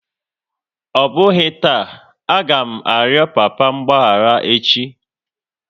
Ọ bụghị taa, a ga m arịọ papa mgbaghara echi!